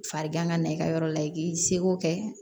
Farigan ka na i ka yɔrɔ la i k'i seko kɛ